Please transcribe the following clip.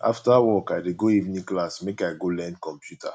after work i dey go evening class make i go learn computer